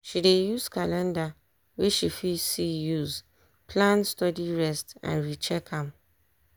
she dey use calender wey she fit see use plan studyrest and recheck am.